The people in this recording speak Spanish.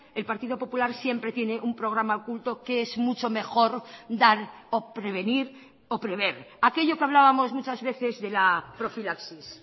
el partido popular siempre tiene un programa oculto que es mucho mejor dar o prevenir o prever aquello que hablábamos muchas veces de la profilaxis